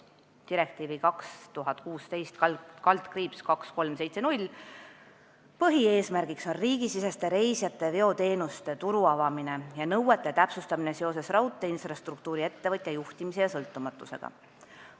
Direktiivi 2016/2370 põhieesmärk on riigisiseste reisijateveoteenuste turu avamine ja nõuete täpsustamine seoses raudteeinfrastruktuuri-ettevõtja juhtimise ja sõltumatusega.